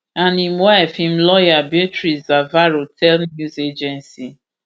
and im wife im lawyer beatrice zavarro tell news agency afp